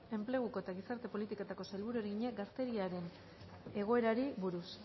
enpleguko eta gizarte politiketako sailburuari egina gazteriaren egoerari buruz